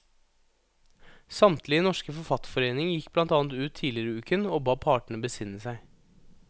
Samtlige norske forfatterforeninger gikk blant annet ut tidligere i uken og ba partene besinne seg.